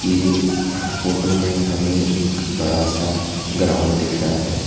ये फोटो में हमे एक बड़ा सा ग्राउंड दिख रहा है।